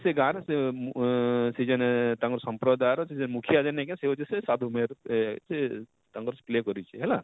ସେ ଗାଁର ସେ ଅଁ ଅଁ ସେ ଯେନ ତାଙ୍କର ସମ୍ପ୍ରଦାୟର ସେ ଯେନ ମୁଖ୍ୟା ଯେନ ନେଇଁ କାଏଁ ସେ ହଉଛି ସେ ସାଧୁ ମେହେର ଆଃ ସେ ତାଙ୍କର play କରିଛେ ହେଲା,